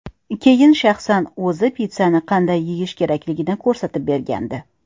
Keyin shaxsan o‘zi pitssani qanday yeyish kerakligini ko‘rsatib bergandi .